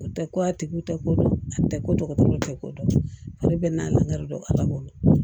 O tɛ ko a tigi tɛ ko dɔn a tɛ ko dɔgɔtɔrɔw tɛ ko dɔn ale bɛ n'a ladon ala bolo